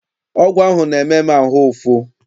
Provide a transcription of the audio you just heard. Ọgwụ ahụ na-eme m ahụ ụfụ.